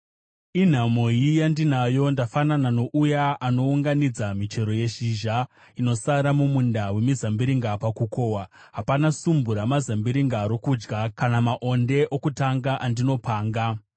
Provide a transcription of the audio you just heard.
Inhamoi yandinayo! Ndafanana nouya anounganidza michero yezhizha inosara mumunda wemizambiringa pakukohwa; hapana sumbu ramazambiringa rokudya, kana maonde okutanga andinopanga.